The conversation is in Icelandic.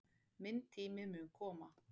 Minn tími mun koma.